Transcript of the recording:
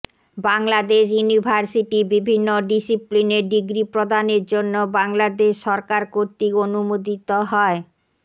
Bangladesh university বিভিন্ন ডিসিপ্লিনে degree প্রদানের জন্য বাংলাদেশ সরকার কর্তৃক অনুমোদিত হয়